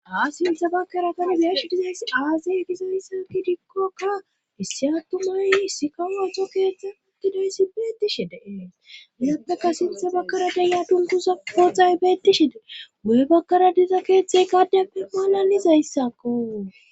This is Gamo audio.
haa sintha baggara tani biyash dizays aazey dizayssaki dikkokka issi attumay issi kawo uxo keeththe uddidayssi beetishe deee hilaptaka sintha bakkara denya dunkusa poohay beetishee guye bakkara diza keeththay kaddeppe maalalizayssakko